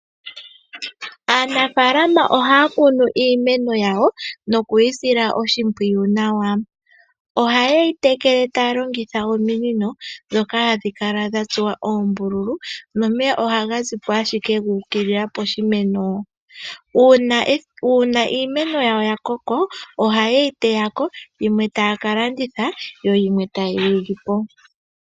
Aanafalama ohaya kunu iimeno yawo noku yi sila oshimpwiyu nawa. Oha yeyi tekele taya longitha ominino ndhoka hadhi kala dha tsuwa oombululu nomeya ohaga ziko ashike guukilila poshimeno. Uuna iimeno yawo yakoka oha yeyi teyako yimwe taya kalanditha yimwe tayelipo.